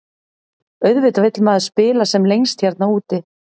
Auðvitað vill maður spila sem lengst hérna úti.